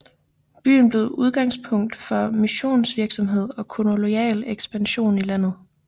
Byen blev udgangspunkt for missionsvirksomhed og kolonial exkspansion i landet